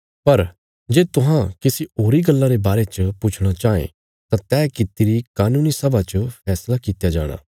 पर जे तुहां किसी होरी गल्ला रे बारे च पुछणा चाँह ये तां तैह कित्ती री कानूनी सभा च फैसला कित्या जाणा